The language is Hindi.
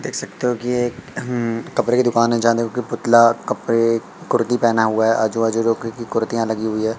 देख सकते हो कि ये एक अं कपड़े की दुकान है जानो कि पुतला कपड़े कुर्ती पहना हुआ है आजू बाजू दो की कुर्तियां लगी हुई है।